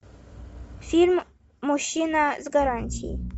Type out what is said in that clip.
фильм мужчина с гарантией